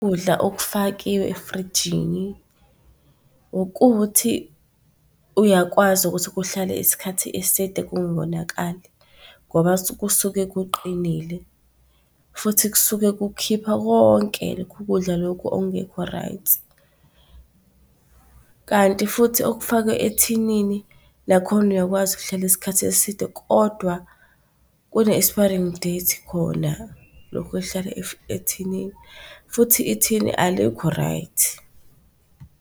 Ukudla okufakiwe efrijini ukuthi uyakwazi ukuthi kuhlale isikhathi eside kungonakali ngoba kusuke kuqinile futhi kusuke kukhipha konke lokhu kudla lokhu ongekho right. Kanti futhi okufakwe ethinini lakhona uyakwazi ukuhlala isikhathi eside kodwa kune-expiring date khona lokhu okuhlala ethinini, futhi ithini alikho right.